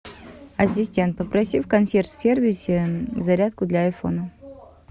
ассистент попроси в консьерж сервисе зарядку для айфона